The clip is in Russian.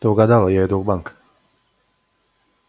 ты угадала я иду в банк